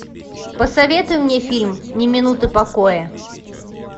посоветуй мне фильм ни минуты покоя